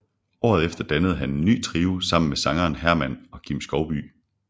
Året efter dannede han en ny trio sammen med sangeren Herman og Kim Skovbye